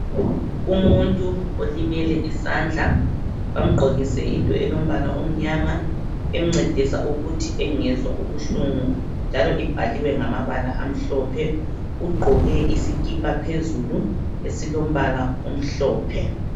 Umuntu olimele isandla bamgqokise into elombala omnyama emcedisa ukuthi engezwa ubuhlungu, njalo ibhaliwe ngamabala amhlophe. Uqmgqoke isikipa phezulu esilombala omhlophe.